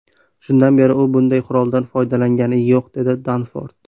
Shundan beri u bunday quroldan foydalangani yo‘q”, dedi Danford.